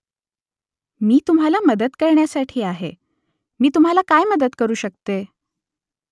मी तुम्हाला मदत करण्यासाठी आहे . मी तुम्हाला काय मदत करू शकते ?